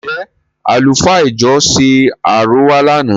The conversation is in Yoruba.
Ǹ jẹ̀ àlùfáà ìjọ ṣe àrọwà lànà?